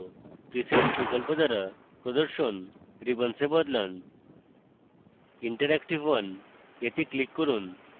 presets বিকল্প দ্বারা প্রদর্শন রিবনসে বদলান interactive 1 এ click করুন